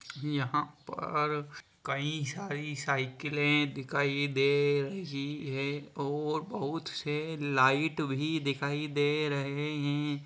यहाँ पर कई सारी साइकिले दिखाई दे रही है और बहुत से लाइट भी दिखाई दे रहे है।